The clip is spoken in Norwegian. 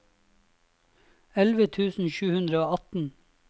elleve tusen sju hundre og atten